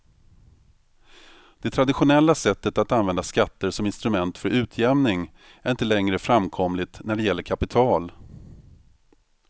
Det traditionella sättet att använda skatter som instrument för utjämning är inte längre framkomligt när det gäller kapital.